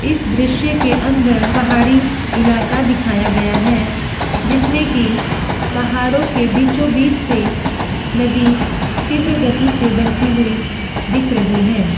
इस दृश्य के अंदर पहाड़ी इलाका दिखाया गया है जिसमे कि पहाड़ो के बीचो-बीच से नदी तीव्र गति से बहती हुई दिख रही है।